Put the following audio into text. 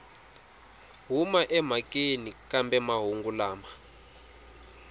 huma emhakeni kambe mahungu lama